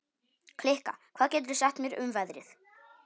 Kikka, hvað geturðu sagt mér um veðrið?